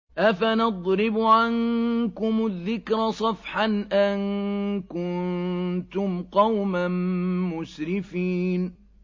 أَفَنَضْرِبُ عَنكُمُ الذِّكْرَ صَفْحًا أَن كُنتُمْ قَوْمًا مُّسْرِفِينَ